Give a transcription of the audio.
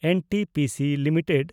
NTPC limited